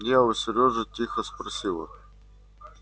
я у серёжи тихо спросила